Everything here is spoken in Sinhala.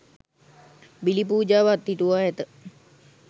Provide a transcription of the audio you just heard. බිලි පූජාව අත්හිටුවා ඇත.